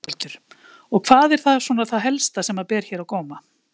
Berghildur: Og hvað er það svona það helsta sem að ber hér á góma?